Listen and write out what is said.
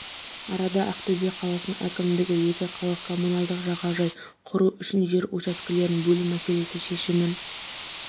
арада ақтөбе қаласының әкімдігі екі қалалық коммуналдық жағажай құру үшін жер учаскелерін бөлу мәселесі шешімін